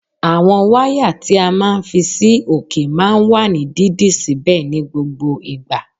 Àwọn wáyà tí a máa ń fi sí òkè máa ń wà ní dídì síbẹ̀ ní gbogbo ìgbà